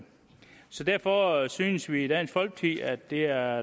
så derfor synes vi i dansk folkeparti at det er